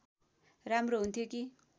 राम्रो हुन्थ्यो कि